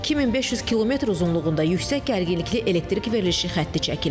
2500 kilometr uzunluğunda yüksək gərginlikli elektrik verilişi xətti çəkilib.